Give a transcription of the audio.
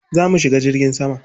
Za mu shiga jirgin sama?